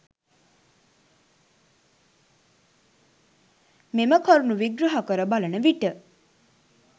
මෙම කරුණු විග්‍රහ කර බලන විට